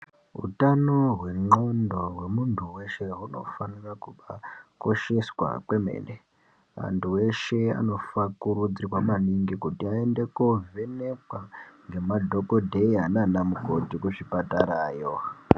Utano hwendxondo hwemuntu weshe hunofanira kubakosheswa kwemene antu eshe anofakurudzirwa maningi kuti aende kuvhenekwa ngemadhokodheya naanamukoti kuzvipatarayo.